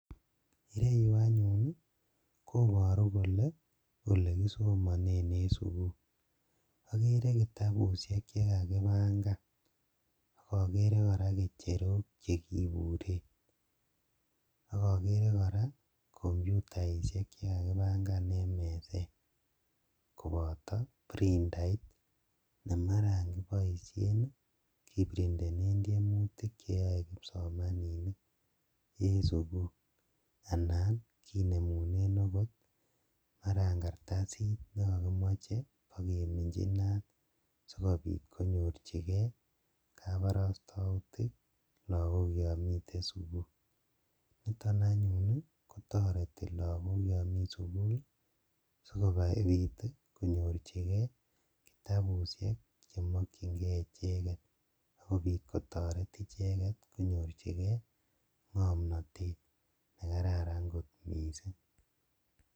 Ireyuu anyun koboruu kolee elekisomonen en sukul, okeree kitabushek chekakibang'an okokeree kora ng'echerok chekibiten, okokeree kora kompyutaishek chekakibang'an en meset koboto printait nemaran keboishen kiprintenen tiemutik cheyoe kipsomaninik en sukul anan kinemunen okot kartasit nekokimoche okeminchi inaat sikobiit konyorchikee kaborostoutik lakok yoon miten sukul, niton anyun kotoreti lokok yoon mii sukul sikobiit konyorchikee kitabushek chemokying'ee icheket akobiit kotoret icheket konyorchikee ng'omnotet nekararan kot mising.